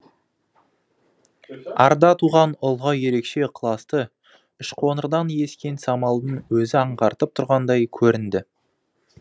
арда туған ұлға ерекше ықыласты үшқоңырдан ескен самалдың өзі аңғартып тұрғандай көрінді